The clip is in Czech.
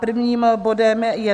Prvním bodem je